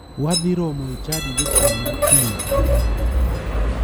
Wadhi romo e chadi gotieno kiny.